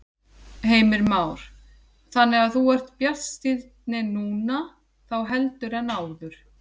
Heimir Már: Þannig þú ert bjartsýnni núna þá heldur en áður?